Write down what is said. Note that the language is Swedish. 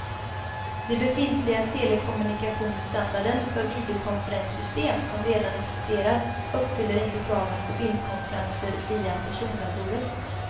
Den befintliga telekommunikationsstandarden för videokonferenssystem som redan existerar uppfyller inte kraven för bildkonferenser via persondatorer.